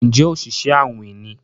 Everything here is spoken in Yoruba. Njé Oṣiṣẹ awin ní?